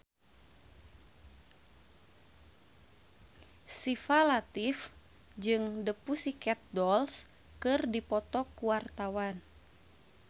Syifa Latief jeung The Pussycat Dolls keur dipoto ku wartawan